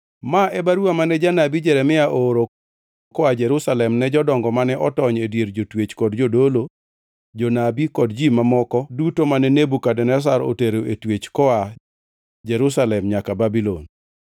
Ma e baruwa mane janabi Jeremia ooro koa Jerusalem ne jodongo mane otony e dier jotwech kod ne jodolo, jonabi kod ji mamoko duto mane Nebukadneza notero e twech koa Jerusalem nyaka Babulon.